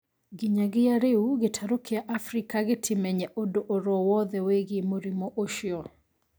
Nginyagia rĩu gĩtaro kĩa Afrika gĩtimenye ũndũ orowothe wĩigie mũrimũ ũcio.